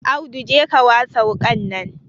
Audu je ka wasa wuƙa nan